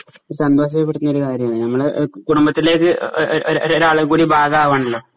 സന്തോഷപ്പെടുത്തുന്ന ഒരുകാര്യമാണ് ഞമ്മളെ കുടുബത്തിലേക്ക് ഒരു ഒരു ഒരു ഒരാളുകൂടി ഭാഗമാവുകയാണല്ലോ